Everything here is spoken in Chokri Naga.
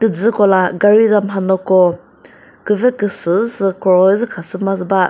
jü kola gari za manyo ko küve küsü sü khroi zü khasüma ba.